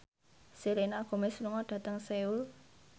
Selena Gomez lunga dhateng Seoul